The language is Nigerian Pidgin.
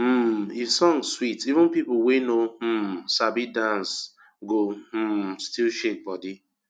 um if song sweet even people wey no um sabi dance go um still shake body